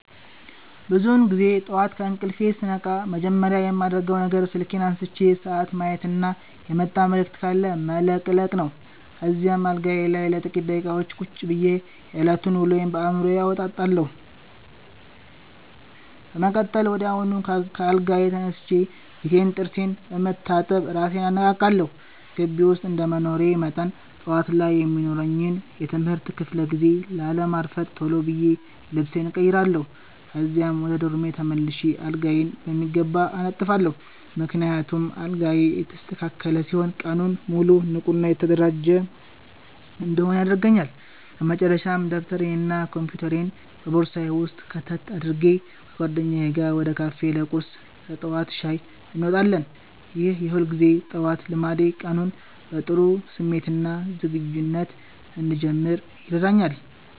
ብዙውን ጊዜ ጠዋት ከእንቅልፌ ስነቃ መጀመሪያ የማደርገው ነገር ስልኬን አንስቼ ሰዓት ማየትና የመጣ መልዕክት ካለ መለቅለቅ ነው። ከዚያም አልጋዬ ላይ ለጥቂት ደቂቃዎች ቁጭ ብዬ የዕለቱን ውሎ በአዕምሮዬ አወጣጣለሁ። በመቀጠል ወዲያውኑ ከአልጋዬ ተነስቼ ፊቴንና ጥርሴን በመታጠብ እራሴን አነቃቃለሁ። ግቢ ውስጥ እንደመኖሬ መጠን፣ ጠዋት ላይ የሚኖረኝን የትምህርት ክፍለ ጊዜ ላለማርፈድ ቶሎ ብዬ ልብሴን እቀይራለሁ። ከዚያም ወደ ዶርሜ ተመልሼ አልጋዬን በሚገባ አነጥፋለሁ፤ ምክንያቱም አልጋዬ የተስተካከለ ሲሆን ቀኑን ሙሉ ንቁና የተደራጀሁ እንድሆን ያደርገኛል። በመጨረሻም ደብተሬንና ኮምፒውተሬን በቦርሳዬ ውስጥ ከተት አድርጌ፣ ከጓደኞቼ ጋር ወደ ካፌ ለቁርስና ለጠዋት ሻይ እንወጣለን። ይህ የሁልጊዜ ጠዋት ልማዴ ቀኑን በጥሩ ስሜትና ዝግጁነት እንድጀምር ይረዳኛል።